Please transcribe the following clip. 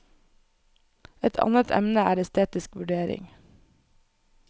Et annet emne er estetisk vurdering.